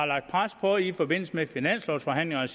lagt pres på i forbindelse med finanslovforhandlingerne og